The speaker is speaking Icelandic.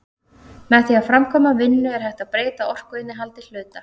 með því að framkvæma vinnu er hægt að breyta orkuinnihaldi hluta